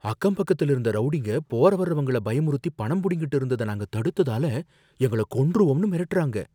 அக்கம் பக்கத்துல இருந்த ரௌடிங்க, போற வர்றவங்கள பயமுறுத்தி பணம் புடுங்கிட்டு இருந்ததை நாங்க தடுத்ததால, எங்கள கொன்றுவோம்னு மிரட்டுறாங்க,